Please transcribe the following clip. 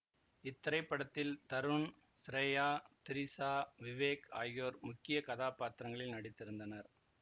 இத்திரைப்படத்தில் தருண் சிரையா திரிசா விவேக் ஆகியோர் முக்கிய கதாப்பாத்திரங்களில் நடித்திருந்தனர்